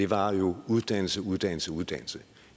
var jo uddannelse uddannelse uddannelse